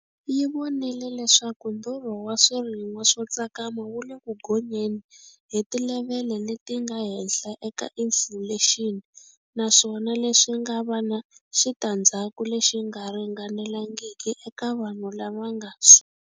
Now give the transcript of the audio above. Yi vonile leswaku ndhurho wa swirin'wa swo tsakama wu le ku gonyeni hi tilevhele leti nga henhla ka inifulexini, naswona leswi nga va na xitandzhaku lexi nga ringanelangiki eka vanhu lava nga.